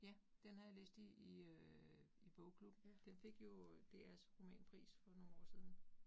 Ja, den har jeg læst i i øh i bogklubben. Den fik jo DRs romanpris for nogle år siden